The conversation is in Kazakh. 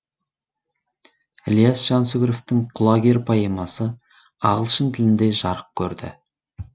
ілияс жансүгіровтің құлагер поэмасы ағылшын тілінде жарық көрді